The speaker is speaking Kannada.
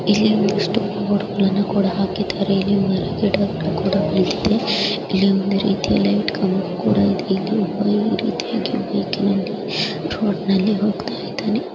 ಇಲ್ಲಿ ಒಂದಿಷ್ಟು ಕೂಡ ಹಾಕಿದಾರೆ ಇಲ್ಲಿ ಮರ ಗಿಡ ಕೂಡ ಬೆಳ್ದಿದೆ ಇಲ್ಲಿ ಒಂದು ರೀತಿಯಲ್ಲಿ ಕಂಬ ಕೂಡ ಇದೆ. ಇಲ್ಲಿ ಒಬ್ಬ ವ್ಯಕ್ತಿ ರೋಡನಲ್ಲಿ ಹೋಗ್ತಾಯಿದಾನೆ .